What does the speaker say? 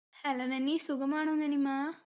hello നനി സുഖമാണോ നനിമ്മാ